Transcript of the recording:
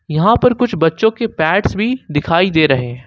यहां पर कुछ बच्चों के पेड्स भी दिखाई दे रहे हैं।